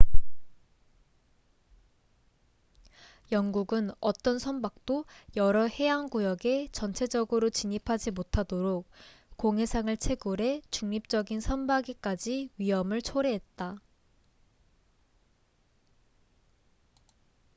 영국은 어떤 선박도 여러 해양 구역에 전체적으로 진입하지 못하도록 공해상을 채굴해 중립적인 선박에까지 위험을 초래했다